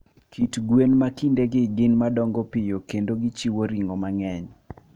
Kit gwen ma kindegi gin madongo piyo kendo gichiewo ring'o mang'eny.